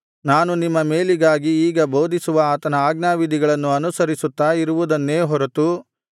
ನಾನು ನಿಮ್ಮ ಮೇಲಿಗಾಗಿ ಈಗ ಬೋಧಿಸುವ ಆತನ ಆಜ್ಞಾವಿಧಿಗಳನ್ನು ಅನುಸರಿಸುತ್ತಾ ಇರುವುದನ್ನೇ ಹೊರತು ನಿಮ್ಮ ದೇವರಾದ ಯೆಹೋವನು